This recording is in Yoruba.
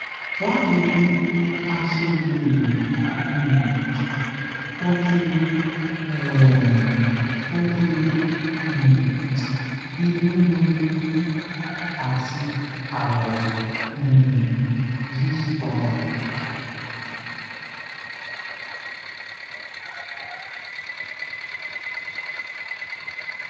báwo ni a se le um toju um toju um inu gbuuru ati awo um yiyipadà